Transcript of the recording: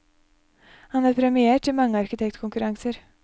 Han er premiert i mange arkitektkonkurranser.